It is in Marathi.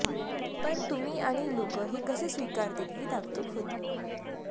पण तुम्ही आणि लोकं हे कसं स्वीकारतील ही धाकधूक होती